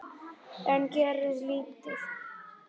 En gerði lítið.